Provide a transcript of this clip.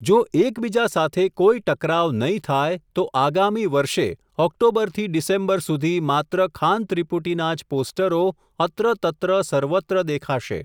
જો એક બીજા સાથે કોઈ ટકરાવ નહિ થાય, તો આગામી વર્ષે, ઓક્ટોબરથી ડિસેમ્બર સુધી, માત્ર ખાન ત્રિપુટીના જ પોસ્ટરો, અત્ર તત્ર સર્વત્ર દેખાશે.